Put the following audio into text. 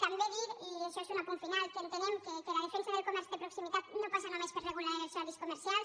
també dir i això és un apunt final que entenem que la defensa del comerç de proximitat no passa només per regular els horaris comercials